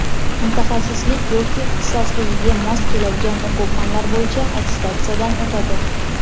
mutaxassislik yoki ixtisosligiga mos keladigan o‘quv fanlar bo‘yicha attestatsiyadan o‘tadi.